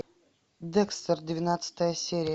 декстер двенадцатая серия